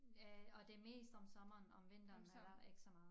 Øh og det mest om sommeren om vinteren er der ikke så meget